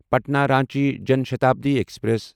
Patna Ranchi Jan Shatabdi express